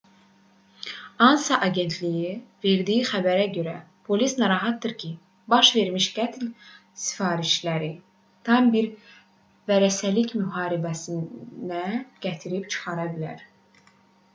ansa agentliyinin verdiyi xəbərə görə polis narahatdır ki baş vermiş qətl sifarişləri tam bir vərəsəlik müharibəsinə gətirib çıxara bilər